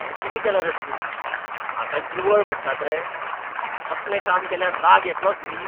हें कितें केलां रे तुमी, हाका निवळ म्हणटात रे. असलें काम केल्यार राग येतलोच न्ही?